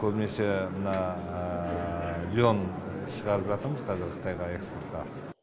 көбінесе мына лен шығарып жатырмыз қазір қытайға экспортқа